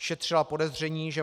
Šetřila podezření, že